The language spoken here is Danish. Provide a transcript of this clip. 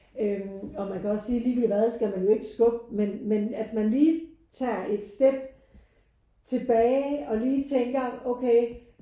Øh og man kan også sige ligegyldigt hvad skal man jo ikke skubbe men men at man lige tager et step tilbage og lige tænker okay